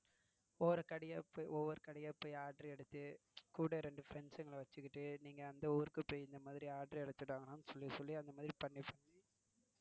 ஒவ்வரு கடையா போய், ஒவ்வரு கடையா போய் ஆர்டர் எடுத்து கூட இரண்டு friends கள வச்சிட்டு நீங்க அந்த ஊருக்கு போய் இந்த மாதிரி order எடுத்திட்டு வாங்கடான்னு சொல்லி சொல்லி அந்த மாதிரி பண்ணி